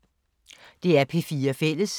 DR P4 Fælles